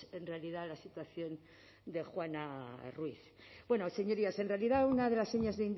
en realidad la situación de juana ruiz bueno señorías en realidad una de las señas